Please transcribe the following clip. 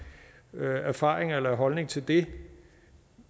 erfaringer med eller holdning til det